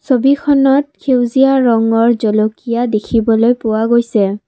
ছবিখনত সেউজীয়া ৰঙৰ জলকীয়া দেখিবলৈ পোৱা গৈছে।